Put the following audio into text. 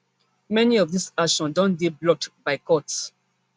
many of dis actions don dey blocked by courts